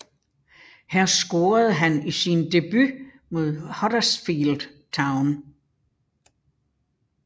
Her scorede han i sin debut mod Huddersfield Town